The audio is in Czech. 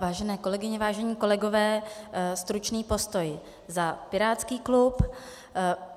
Vážené kolegyně, vážení kolegové, stručný postoj za pirátský klub.